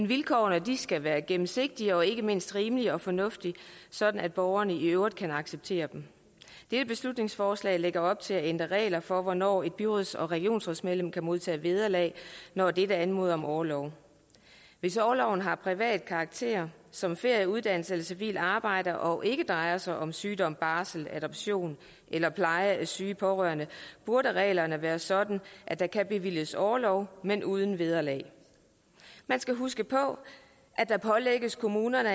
vilkårene skal være gennemsigtige og ikke mindst rimelige og fornuftige sådan at borgerne kan acceptere dem dette beslutningsforslag lægger op til at ændre regler for hvornår byråds og regionsrådsmedlemmer kan modtage vederlag når de anmoder om orlov hvis orloven har privat karakter som ferie uddannelse eller civilt arbejde og ikke drejer sig om sygdom barsel adoption eller pleje af syge pårørende burde reglerne være sådan at der kan bevilges orlov men uden vederlag man skal huske på at der pålægges kommunerne